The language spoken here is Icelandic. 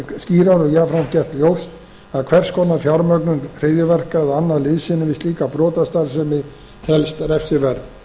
skýrar og jafnframt gert ljóst að hvers konar fjármögnun hryðjuverka eða annað liðsinni við slíka brotastarfsemi telst refsiverð